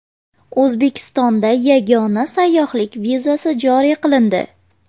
O‘zbekistonda yagona sayyohlik vizasi joriy qilindi .